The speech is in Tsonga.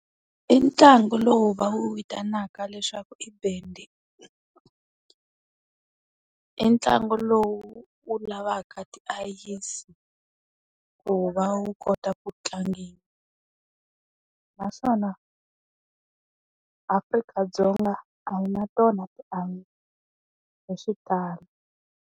I ntlangu lowu va wu vitanaka leswaku i bandy. I ntlangu lowu wu lavaka tiayisi, ku va wu kota ku tlangiwa. Naswona Afrika-Dzonga a yi na tona tiayisi, hi xitalo.